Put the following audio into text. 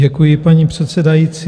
Děkuji, paní předsedající.